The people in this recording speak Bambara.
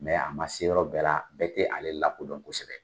Mɛ a ma se yɔrɔ bɛɛ la, bɛɛ tɛ ale lakodɔn kosɛbɛ.